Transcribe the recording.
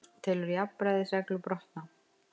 Telur jafnræðisreglu brotna